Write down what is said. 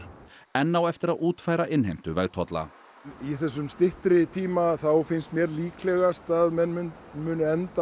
enn á eftir að útfæra innheimtu vegtolla á þessum styttri tíma finnst mér líklegast að menn endi